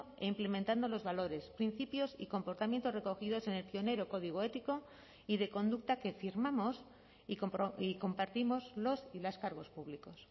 e implementando los valores principios y comportamientos recogidos en el pionero código ético y de conducta que firmamos y compartimos los y las cargos públicos